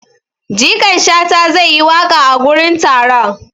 Jikan shata zai yi waƙa a gurin taron.